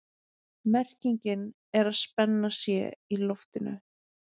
Merkingin er að spenna sé í loftinu.